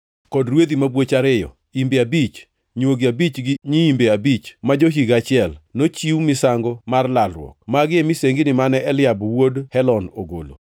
kod rwedhi mabwoch ariyo, imbe abich, nywogi abich gi nyiimbe abich ma jo-higa achiel, nochiw misango mar lalruok. Magi e misengini mane Eliab wuod Helon ogolo.